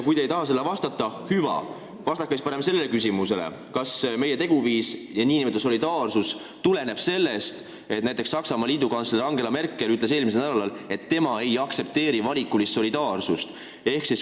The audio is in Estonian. Kui te ei taha sellele vastata, siis hüva, vastake siis sellele küsimusele: kas meie teguviis ja nn solidaarsus tuleneb sellest, et Saksamaa liidukantsler Angela Merkel ütles eelmisel nädalal, et tema ei aktsepteeri valikulist solidaarsust?